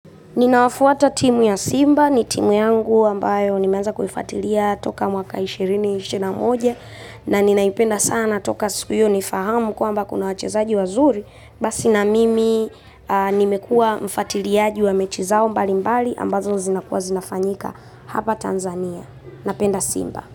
Ninawafuata timu ya Simba, ni timu yangu ambayo nimeanza kuifatilia toka mwaka ishirini, ishirini na moja na ninaipenda sana toka siku hiyo nifahamu kwamba kuna wachezaji wazuri, basi na mimi nimekua mfatiliaji wa mechi zao mbali mbali ambazo zinakuwa zinafanyika hapa Tanzania. Napenda Simba.